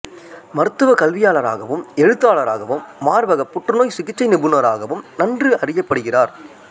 மருத்துவ கல்வியாளராகவும் எழுத்தாளராகவும் மார்பகப் புற்றுநோய் சிகிச்சை நிபுணராகவும் நன்கு அறியப்படுகிறார்